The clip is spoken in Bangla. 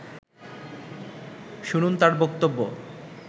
শুনুন তার বক্তব্য